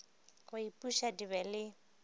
go ipuša di be le